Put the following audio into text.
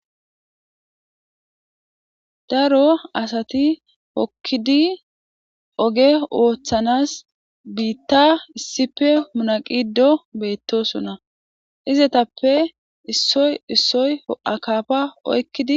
daro asati hokkidi oge wooththanas biitta issife munaqido beettosunna izetappe issoy issoy akafa oykkidi